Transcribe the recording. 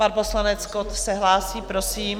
Pan poslanec Kott se hlásí, prosím.